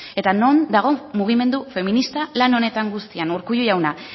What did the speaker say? eta non dago mugimendu feminista lan honetan guztia urkullu jauna